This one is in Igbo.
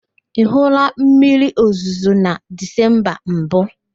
Ị hụụla mmiriozuzo na Dizemba mbụ?